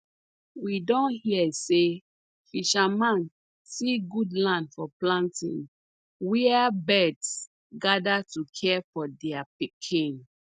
we don hear say fisherman see good land for planting where birds gather to care for their pikin